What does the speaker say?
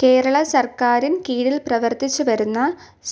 കേരള സർക്കാരിന് കീഴിൽ പ്രവർത്തിച്ച് വരുന്ന